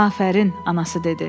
“Afərin,” anası dedi.